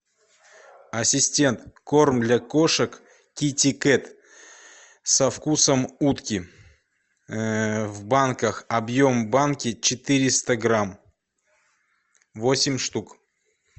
ассистент корм для кошек китикет со вкусом утки в банках объем банки четыреста грамм восемь штук